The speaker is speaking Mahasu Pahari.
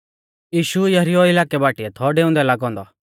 यीशु यरीहो इलाकै बाटीऐ थौ डेउंदै लागौ औन्दौ